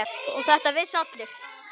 Og þetta vissu allir.